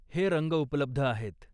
हे रंग उपलब्ध आहेत.